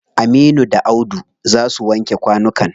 Aminu da Audu za su wanke kwanukan.